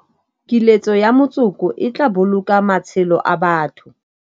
Kiletso ya motsoko e tla boloka matshelo a batho.